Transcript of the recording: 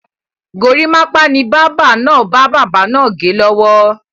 Gorímápá ni báábà náà ń bá bàbá naa gẹ lọ́wọ́.